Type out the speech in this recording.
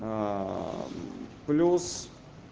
плюс